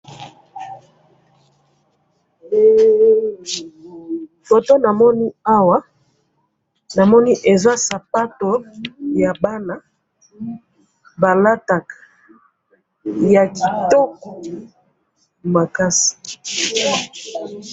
photo namoni awa, namoni eza sapatu ya bana balataka, ya kitoko makasi